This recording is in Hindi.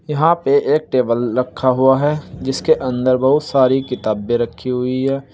यहां पे एक टेबल रखा हुआ है जिसके अंदर बहुत सारी किताबें रखी हुई है।